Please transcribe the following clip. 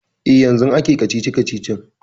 E, yanzun ake kacici-kacicin.